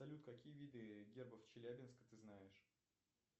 салют какие виды гербов челябинска ты знаешь